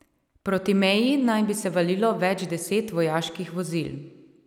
Proti meji naj bi se valilo več deset vojaških vozil.